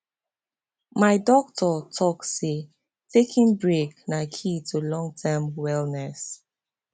my doctor talk say taking break na key to long term wellness